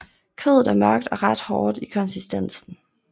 Kødet er mørkt og ret hårdt i konsistensen